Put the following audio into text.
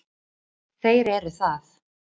Þeir eru það.